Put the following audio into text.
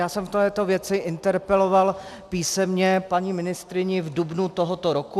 Já jsem v této věci interpeloval písemně paní ministryni v dubnu tohoto roku.